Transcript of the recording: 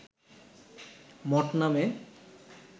মঠ নামে